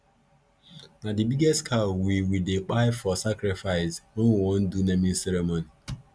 na the biggest cow we we dey kpai for sacrifice when we wan do naming ceremony